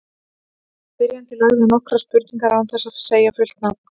Spyrjandi lagði inn nokkrar spurningar án þess að segja fullt nafn.